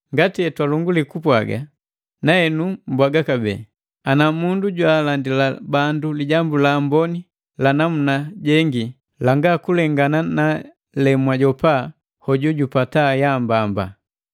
Ngati etwalongulii kupwaaga, na henu mbwaga kabee, ana mundu jwaalandila bandu Lijambu la Amboni lanamuna jengi, janga kulengana na jemwajopa hojujupata yaambamba.